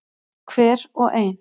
Hver og ein.